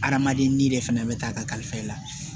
Adamaden n'i de fana bɛ taa a kalifa i la